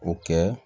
O kɛ